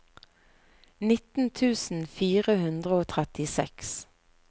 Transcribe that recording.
nitten tusen fire hundre og trettiseks